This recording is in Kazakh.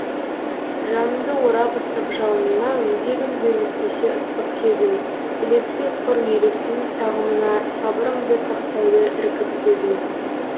жанымды орап ыстық жалынына өзегімді өртесе ыстық сезім ілеспей құр елестің сағымына сабырымды сақтайды іркіп төзім